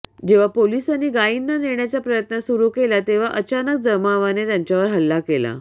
जेव्हा पोलिसांनी गायींना नेण्याचा प्रयत्न सुरू केला तेव्हा अचानक जमावाने त्यांच्यावर हल्ला केला